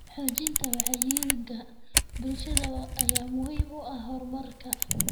Xoojinta wacyiga bulshada ayaa muhiim u ah horumarka.